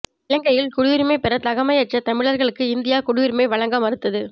இலங்கையில் குடியுரிமை பெறத் தகமையற்ற தமிழர்களுக்கு இந்தியா குடியுரிமை வழங்க மறுத்தது